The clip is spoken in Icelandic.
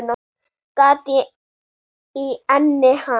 Gat í enni hans.